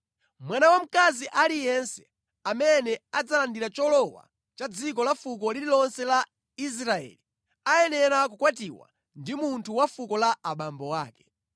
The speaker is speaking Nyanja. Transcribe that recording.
Mwana wamkazi aliyense amene adzalandira cholowa cha dziko la fuko lililonse la Israeli ayenera kukwatiwa ndi munthu wa fuko la abambo ake.